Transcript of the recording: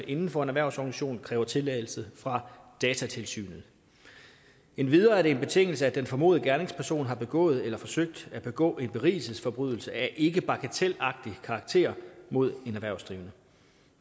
inden for en erhvervsorganisation kræver tilladelse fra datatilsynet endvidere er det en betingelse at den formodede gerningsperson har begået eller forsøgt at begå en berigelsesforbrydelse af ikke bagatelagtig karakter mod en erhvervsdrivende